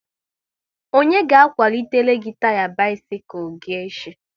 Onye ga akwalitele gị taya bisikul gị echi?